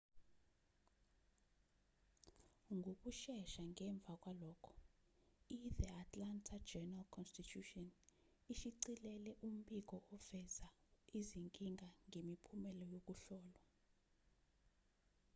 ngokushesha ngemva kwalokho ithe atlanta journal-constitution ishicilele umbiko oveza izinkinga ngemiphumela yokuhlolwa